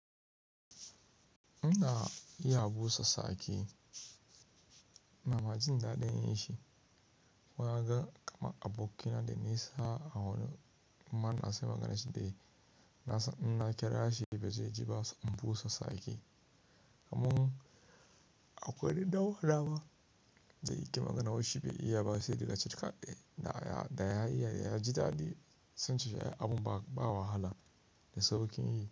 Ina iya busa sake, inama jin daɗin yin shi. Wanga kama a bokina da nesa a warin. Man na sai maganashi dai. Na san inna kirashi ba zai ji ba se in busa sake. Amma akuɗan uwanama da yake magana waishi bai iya ba sai da ya cika ƙai. Da ya iya, ya ji daɗi sance shi abun ba wahala. Da saukin yi.